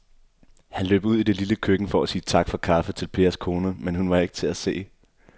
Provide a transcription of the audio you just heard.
Han løb ud i det lille køkken for at sige tak for kaffe til Pers kone, men hun var ikke til at se.